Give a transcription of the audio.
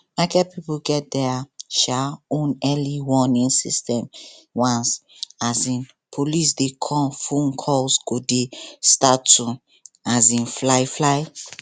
market people get their um own early warning system once um police dey come phone calls go dey start to um fly fly